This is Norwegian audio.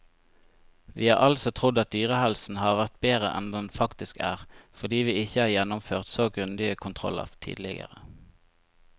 Vi har altså trodd at dyrehelsen har vært bedre enn den faktisk er, fordi vi ikke har gjennomført så grundige kontroller tidligere.